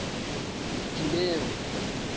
dineo